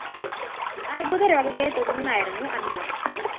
അര്‍ബുദ രോഗത്തെ തുടര്‍ന്നായിരുന്നു അന്ത്യം